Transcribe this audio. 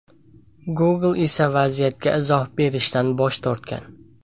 Google esa vaziyatga izoh berishdan bosh tortgan.